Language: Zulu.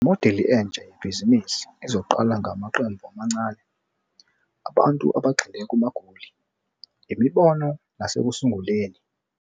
Imodeli entsha yebhizinisi izoqala ngamaqembu amancane abantu abagxile kumagoli, imibono nasekusunguleni.